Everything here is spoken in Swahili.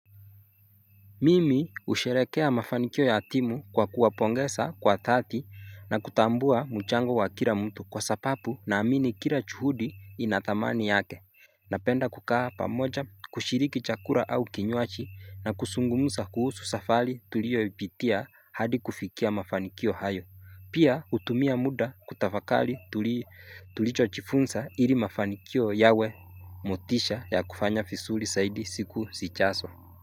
Mimi husherekea mafanikio ya timu kwa kuwapongeza kwa thati na kutambua mchango wa kila mtu kwa sababu ninaamini kila juhudi ina thamani yake. Napenda kukaa pamoja kushiriki chakula au kinyuaji na kuzungumuza kuhusu safari tulioipitia hadi kufikia mafanikio hayo. Pia hutumia muda kutafakari tulicho jifunza ili mafanikio yawe motisha ya kufanya visuri zaidi siku zijazo.